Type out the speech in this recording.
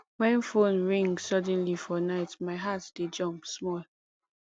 wen phone ring suddenly for night my heart dey jump small